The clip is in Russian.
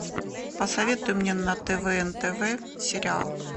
посоветуй мне на тв нтв сериал